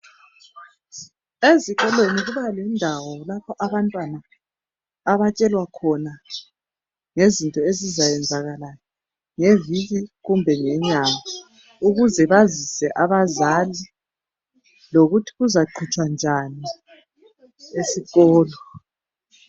Ezikolo kuba lendawo lapho abantwana abatshelwa khona ngezinto ezizayenzakala ngeviki kumbe ngenyanga ukuze bazise abazali lokuthi kuzaqhutshwa njani esikolo.